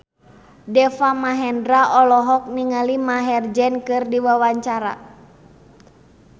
Deva Mahendra olohok ningali Maher Zein keur diwawancara